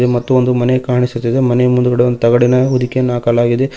ಮತ್ತು ಒಂದು ಮನೆ ಕಾಣಿಸುತ್ತದೆ ಮನೆ ಮುಂದ್ಗಡೆ ಒಂದು ತಗಡಿನ ಹೊದಿಕೆಯನ್ನು ಹಾಕಲಾಗಿದೆ.